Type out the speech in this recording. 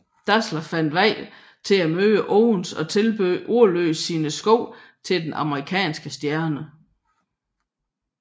Dassler fandt vej til at møde Owens og tilbød ordløst sine sko til den amerikanske stjerne